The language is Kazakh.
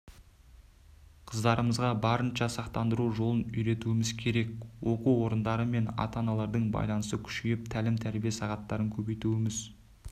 қыздарымызға барынша сақтандыру жолын үйретуіміз керек оқу орындары мен ата-аналардың байланысы күшейіп тәлім-тәрбие сағаттарын көбейтуіміз